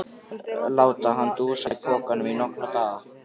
Láta hann dúsa í pokanum í nokkra daga!